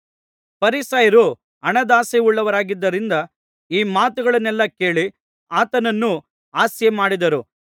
ಫರಿಸಾಯರು ಹಣದಾಸೆಯುಳ್ಳವರಾಗಿದ್ದರಿಂದ ಈ ಮಾತುಗಳನ್ನೆಲ್ಲಾ ಕೇಳಿ ಆತನನ್ನು ಹಾಸ್ಯ ಮಾಡಿದರು